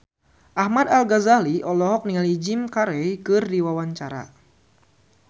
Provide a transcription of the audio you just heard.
Ahmad Al-Ghazali olohok ningali Jim Carey keur diwawancara